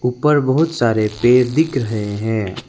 ऊपर बहुत सारे पेड़ दिख रहे हैं।